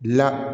La